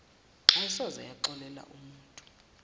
ayisoze yaxolela umutu